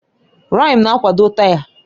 Rịịm na-akwado taya.